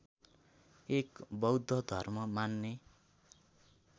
एक बौद्ध धर्म मान्ने